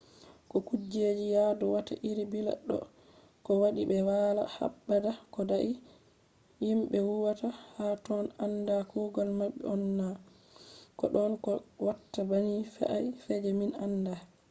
ko kujeji yadu watta iri billa do ko wadi be wala habda ko dai? himbe huwata ha totton anda kugal mabbe on na ? ko don ko watta banni fe’a je min anda?